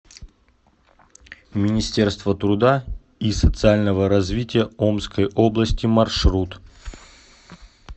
министерство труда и социального развития омской области маршрут